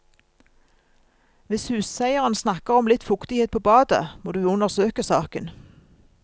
Hvis huseieren snakker om litt fuktighet på badet, må du undersøke saken.